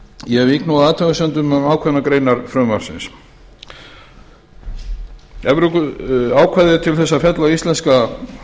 ég vík nú að athugasemdum um ákveðnar greinar frumvarpsins ákvæðið er til þess að fella íslenska